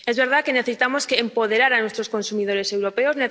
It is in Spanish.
Es verdad que necesitamos empoderar a nuestros consumidores europeos.